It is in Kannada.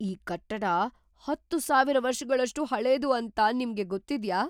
ಈ ಕಟ್ಟಡ ಹತ್ತು ಸಾವಿರ ವರ್ಷಗಳಷ್ಟು ಹಳೇದು ಅಂತ ನಿಮ್ಗೆ ಗೊತ್ತಿದ್ಯಾ?